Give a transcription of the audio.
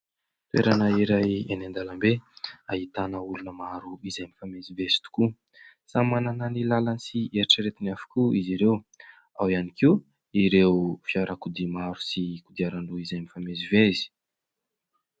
Toerana iray eny an-dalambe ahitana olona maro izay mifamezivezy tokoa. Samy manana ny lalany sy eritreretiny avokoa izy ireo. Ao ihany koa ireo fiarakodia maro sy kodiaran-droa izay mifamezivezy.